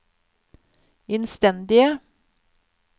innstendige